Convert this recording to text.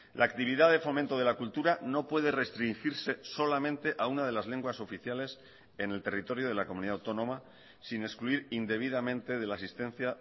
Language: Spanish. la actividad de fomento de la cultura no puede restringirse solamente a una de las lenguas oficiales en el territorio de la comunidad autónoma sin excluir indebidamente de la asistencia